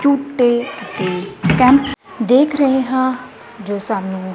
ਝੂਟੇ ਤੇ ਕੈਂਪ ਦੇਖ ਰਹੇ ਹਾਂ ਜੋ ਸਾਨੂੰ --